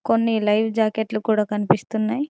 కొన్ని లైవ్ జాకెట్లు కూడా కనిపిస్తున్నాయ్.